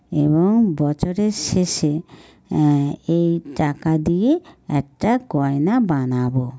এবং বছরের শেষে এ্যাঁ-এ্যাঁ এই টাকা দিয়ে একটা গয়না বানাবো।